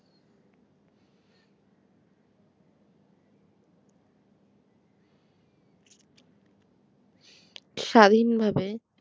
স্বাধীনভাবে